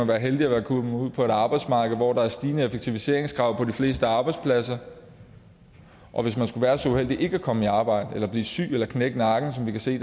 være heldig at være kommet ud på et arbejdsmarked hvor der er stigende effektiviseringskrav på de fleste arbejdspladser og hvis man skulle være så uheldig ikke at komme i arbejde eller at blive syg eller knække nakken som vi kan se